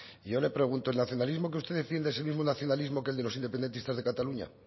yo le pregunto el nacionalismo que usted defiende es el mismo nacionalismo que el de los independentistas de cataluña